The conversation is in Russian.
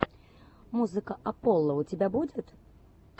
музыка апполо у тебя будет